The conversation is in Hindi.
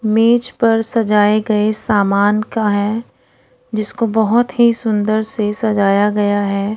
मेज पर सजाए गए सामान का है जिसको बहोत ही सुंदर से सजाया गया है।